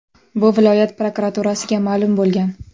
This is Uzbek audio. Bu viloyat prokuraturasiga ma’lum bo‘lgan.